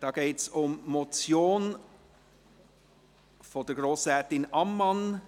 Es geht um die Motion von Grossrätin Ammann.